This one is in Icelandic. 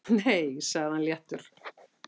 Nei sagði hann léttur.